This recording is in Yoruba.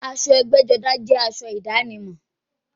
Aṣọ ẹgbẹ́-jọdá jẹ́ aṣọ ìdánimọ̀.